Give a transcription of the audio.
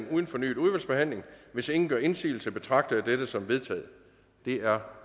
uden fornyet udvalgsbehandling hvis ingen gør indsigelse betragter jeg dette som vedtaget det er